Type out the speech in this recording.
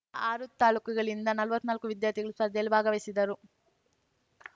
ಆರು ತಾಲೂಕುಗಳಿಂದ ನಲ್ವತ್ನಾಲ್ಕು ವಿದ್ಯಾರ್ಥಿಗಳು ಸ್ಪರ್ಧೆಯಲ್ಲಿ ಭಾಗವಹಿಸಿದರು